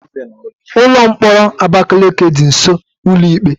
Ụlọ mkpọrọ Abakaliki dị nsọ ụlọ ikpe